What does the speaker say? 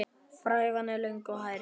Frævan er löng og hærð.